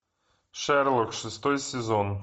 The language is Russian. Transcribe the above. шерлок шестой сезон